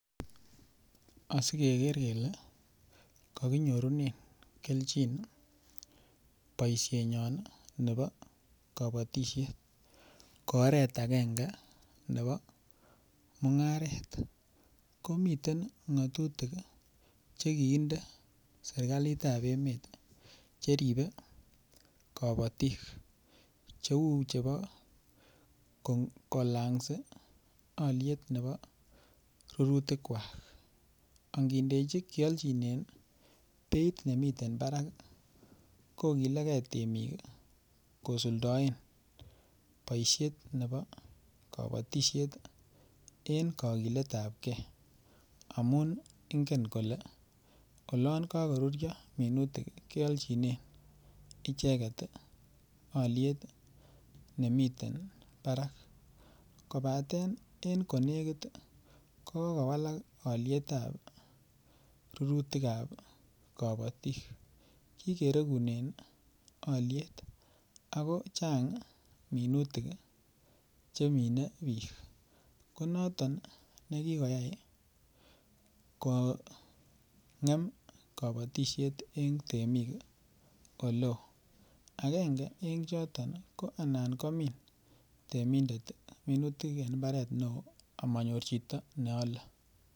Asi keger kele ko kinyorunen kelchin boisienyon ko oret agenge nebo mungaret komiten ngatutik Che kinde serkalit ab emet Che ribe kabatik Cheu chebo kolangsi alyet nebo rurutikwak ange alchinen beit nemiten barak kogilgei temik kosuldaen boisiet nebo kabatisiet en kagilet ab ge amun ingen kole olon kagoruryo minutik kealchinen icheget alyet nemiten barak kobaten en ko negit ko kowalak alyet ab rurutik ab kabatik kikeregunen alyet ako chang minutik chemine bik ko noton nekikoyai kongem kabatisiet en temik Oleo agenge en choton ko anan komin temindet minutik en mbaret neo amanyor chito ne ale